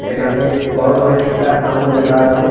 একানে বড় ধরনের একটা আমূল লেখা আসে।